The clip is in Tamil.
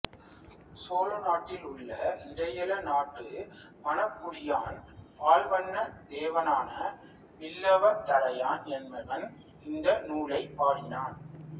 சோழநாட்டிலுள்ள இடையள நாட்டு மணக்குடியான் பால்வண்ண தேவனான வில்லவதரையன் என்பவன் இந்த நூலைப் பாடினான்